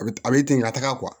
A bɛ a bɛ ten ka taga